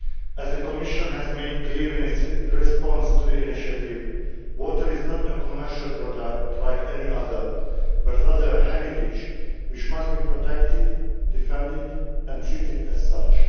As the Commission has made clear in its response to the initiative, water is not a commercial product like any other, but rather a heritage which must be protected, defended and treated as such.